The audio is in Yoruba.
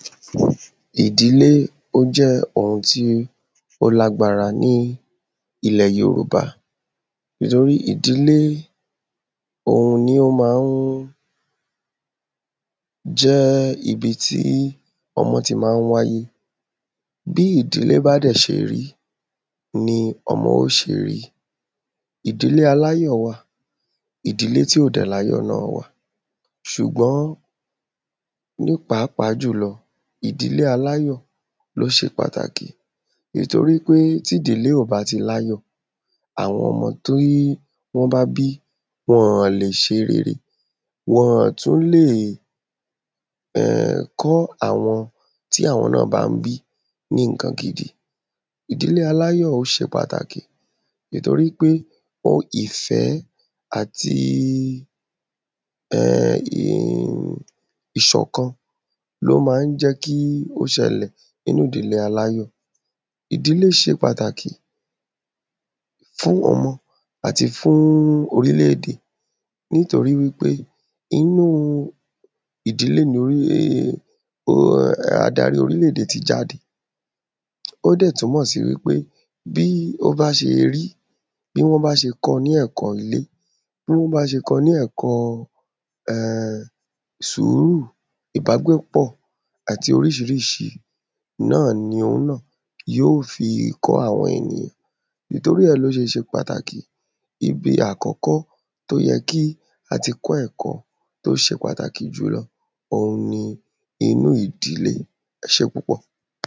Ìdílé ó jẹ́ ohun tí ó lágbára ní ilẹ̀ yòròba nítorí ìdílé òun ni ó ma ń jẹ́ ibi tí ọmọ ti má ń wáyé bí ìdílé bá dẹ̀ ṣe rí ni ọmọ ó ṣe rí ìdílé aláyọ̀ wà ìdílé tí ò dẹ̀ láyọ̀ náà wà ṣùgbọn ní pàápàá jùlọ ìdílé aláyọ̀ ló ṣe pàtàkì ìtorí pé ti ìdílé ò bá ti láyọ̀ àwọn ọmọ tí wọ́n bá bí wọn lè ṣe rere wọn ọ̀ tú lè kọ́ àwọn tí àwọn náà bá ń bí ní ǹkan gidi ìdílé aláyọ̀ ó ṣe pàtàkì ìtorí pé ìfẹ́ àti ìṣọ̀kan ló má ń jẹ́ kí ó ṣẹlẹ̀ nínú ìdílé aláyọ̀ ìdílé ṣe pàtàkì fún wọn mọ àti fún orílèdè nítorí wí pé inú ìdílé ni adarí orílèdè ti jáde ó dẹ̀ túnmọ̀ sí wí pé bí ó bá ṣe rí bí wọ́n bá ṣe kọ ní ẹ̀kọ́ ilé bó ú bá ṣe kọ ní ẹ̀kọ sùúrù ìbágbépọ̀ àti oríṣiríṣi náà ni yì ó fi kọ́ àwọn ènìyàn ìtorí ẹ̀ ló ṣe ṣe pàtàkì ibi àkọ́kọ́ tó yẹ kí àti kọ́ ẹ̀kọ́ tó ṣe pàtàkì jùlọ òun ni inú ìdílé ẹ ṣe púpọ̀